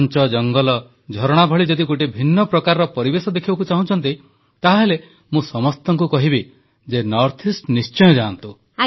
ଘଂଚ ଜଙ୍ଗଲ ଝରଣା ଭଳି ଯଦି ଗୋଟିଏ ଭିନ୍ନ ପ୍ରକାର ପରିବେଶ ଦେଖିବାକୁ ଚାହୁଁଛନ୍ତି ତାହେଲେ ମୁଁ ସମସ୍ତଙ୍କୁ କହିବି ଯେ ଉତ୍ତର ପୂର୍ବାଂଚଳ ନିଶ୍ଚୟ ଯାଆନ୍ତୁ